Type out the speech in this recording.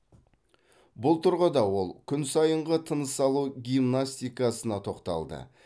бұл тұрғыда ол күн сайынғы тыныс алу гимнастикасына тоқталды